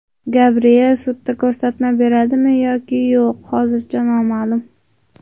Gabriel sudda ko‘rsatma beradimi yoki yo‘q hozircha noma’lum.